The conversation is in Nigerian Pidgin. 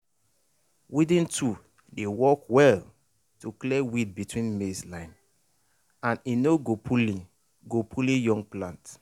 weeding tool dey work well to clear weed between maize line and e no go pulling go pulling young plant